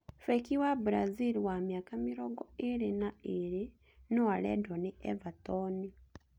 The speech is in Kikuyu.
Beki wa brazil wa mĩaka mĩrongo ĩĩrĩ na ĩĩrĩ noarendwo nĩ Everton